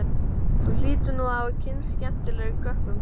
Þú hlýtur nú að hafa kynnst skemmtilegum krökkum.